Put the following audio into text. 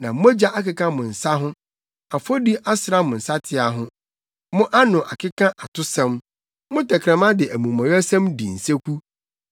Na mogya akeka mo nsa ho, afɔdi asra mo nsateaa ho. Mo ano akeka atosɛm, mo tɛkrɛma de amumɔyɛsɛm di nseku.